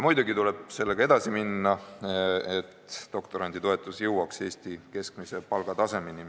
Muidugi tuleb sellega edasi minna, et doktoranditoetus jõuaks Eesti keskmise palga tasemele.